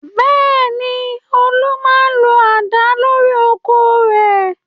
Bẹ́ẹ̀ ni, Olú máa ń lo àdá lórí oko rẹ̀.